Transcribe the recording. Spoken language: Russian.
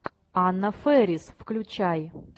анна фэрис включай